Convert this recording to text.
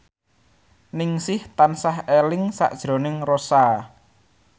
Ningsih tansah eling sakjroning Rossa